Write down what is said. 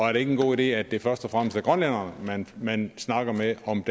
er det ikke en god idé at det først og fremmest er grønlænderne man man snakker med om